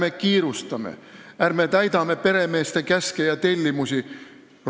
Ärme kiirustame, ärme täidame peremeeste käske ja tellimusi!